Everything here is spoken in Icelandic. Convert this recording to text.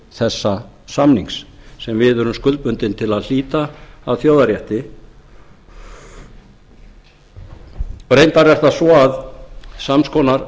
þessa samnings sem við erum skuldbundin til að hlíta að þjóðarrétti reyndar er það svo að sams konar